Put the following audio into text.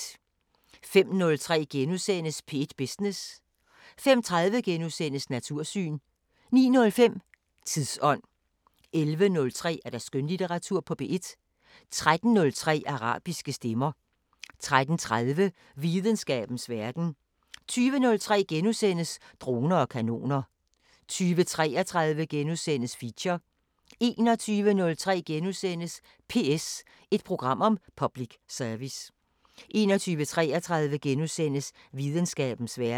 05:03: P1 Business * 05:30: Natursyn * 09:05: Tidsånd 11:03: Skønlitteratur på P1 13:03: Arabiske Stemmer 13:30: Videnskabens Verden 20:03: Droner og kanoner * 20:33: Feature * 21:03: PS – et program om public service * 21:33: Videnskabens Verden *